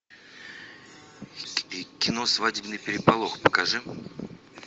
кино свадебный переполох покажи